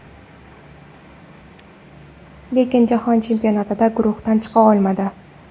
Lekin Jahon chempionatida guruhdan chiqa olmadi.